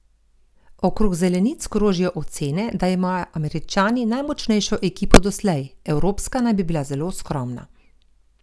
Okrog zelenic krožijo ocene, da imajo Američani najmočnejšo ekipo doslej, evropska naj bi bila zelo skromna.